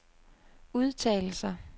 udtalelser